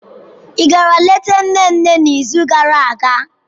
Ị gara leta nne nne n'izu gara aga?